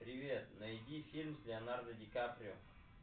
привет найди фильм с леонардо ди каприо